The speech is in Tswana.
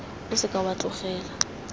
o se ka wa tlogela